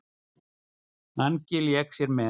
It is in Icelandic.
Mangi lék sér með.